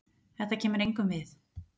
Þetta kemur engum við.